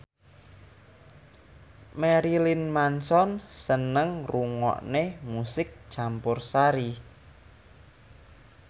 Marilyn Manson seneng ngrungokne musik campursari